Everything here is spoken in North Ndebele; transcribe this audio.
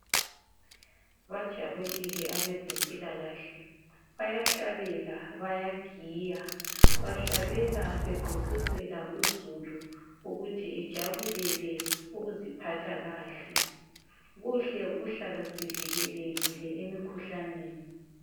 Bajabulile abezempilakahle bayahlabela bayagiya bahlabela begqugquzela uzulu ukuthi ejabulele ukuziphatha kahle kuhle ukuhlala sivikelekile emikhuhlaneni